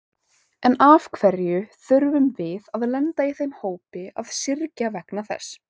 En af hverju þurfum við að lenda í þeim hópi að syrgja vegna þess?